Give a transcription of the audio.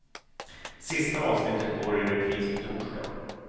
Sista avsnittet går i repris på torsdag.